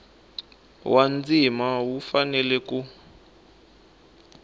wa ndzima wu fanele ku